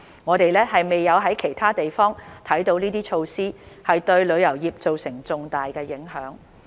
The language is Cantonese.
我們未有在其他地方看到這些措施會對旅遊業做成重大影響。